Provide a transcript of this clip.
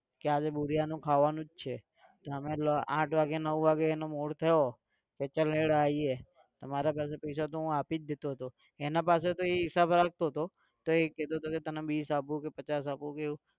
કે આજે ભુરીયાનું ખાવાનું જ છે તો અમે આંઠ વાગે નવ વાગે એનો mood થયો. તો ચાલ હેડ આવીએ તો મારા પૈસા હોય તો હું આપી જ દેતો હતો. એના પાસે તો એ હિસાબ રાખતો હતો તો એ કેહતો હતો કે તને વીસ આપું કે પચાસ આપું કે એવું.